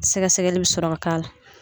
Sɛgɛsɛgɛli bɛ sɔrɔ ka k'a la